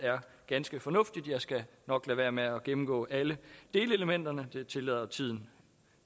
ganske fornuftigt jeg skal nok lade være med at gennemgå alle delelementerne det tillader tiden